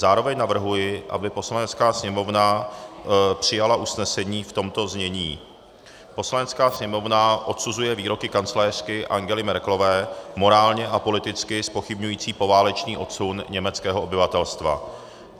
Zároveň navrhuji, aby Poslanecká sněmovna přijala usnesení v tomto znění: Poslanecká sněmovna odsuzuje výroky kancléřky Angely Merkelové morálně a politicky zpochybňující poválečný odsun německého obyvatelstva.